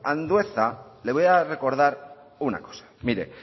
andueza le voy a recordar una cosa mire